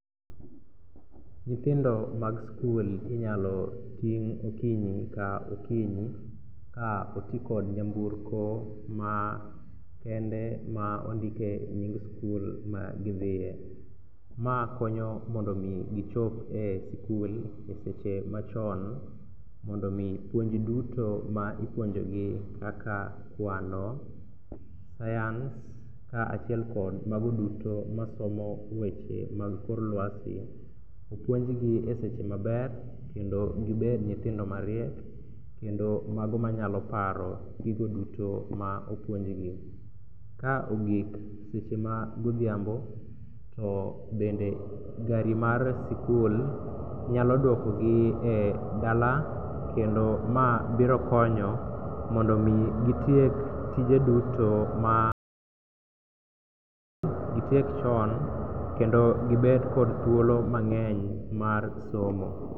Nyithindo mag skul inyalo ting' okinyi ka okinyi ka otikod nyamburko makende ma ondike nying skul magidhie. Ma konyo mondo omi gichop e skul e seche machon mondo omi puonj duto ma ipuonjogi kaka kwano, science kaachiel kod mago duto masomo weche mag kor lwasi opuonjgi e seche maber kendo gibed nyithindo mariek kendo mago manyalo paro gigo duto ma opuonjgi. Ka ogik seche magodhiambo to bende gari mar sikul nyalo duokogi e dala kendo ma biro konyo mondo omi gitiek tije duto ma gitiek chon kendo gibed kod thuolo mang'eny mar somo.